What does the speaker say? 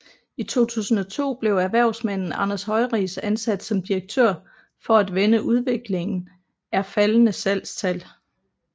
I 2002 blev erhvervsmanden Anders Høiris ansat som direktør for at vende udviklingen er faldende salgstal